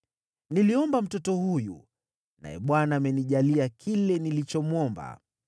Niliomba mtoto huyu, naye Bwana amenijalia kile nilichomwomba.